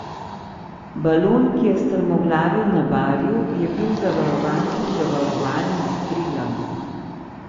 Balon, ki je strmoglavil na Barju, je bil zavarovan pri Zavarovalnici Triglav.